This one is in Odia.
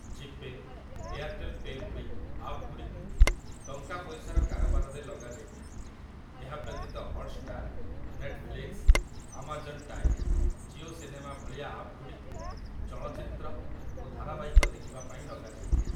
ଜିପେ', ଏୟାରଟେଲ୍ ପେ' ଭଳି ଆପ୍‌ଗୁଡ଼ିକୁ ଟଙ୍କା ପଇସାର କାରବାରରେ ଲଗା ଯାଇଥାଏ । ଏହା ବ୍ୟତୀତ Hotstar, Netflix, Amazon Prime, Jio cinema ଭଳିଆ ଆପ୍‌ଗୁଡ଼ିକୁ ଚଳଚ୍ଚିତ୍ର ଓ ଧାରାବାହିକ ଦେଖିବା ପାଇଁ ଲଗା ଯାଇଥାଏ ।